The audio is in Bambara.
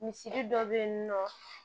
Misiri dɔ be yen nɔ